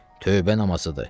Tövbə namazıdır.